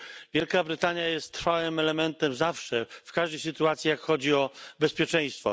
Wielka Brytania jest trwałym elementem zawsze, w każdej sytuacji, gdy chodzi o bezpieczeństwo.